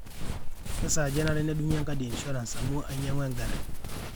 kesaaja enare nedungi enkadi e insurance amu ainyangua enkari